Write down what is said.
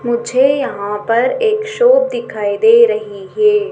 मुझे यहां पर एक शॉप दिखाई दे रही है।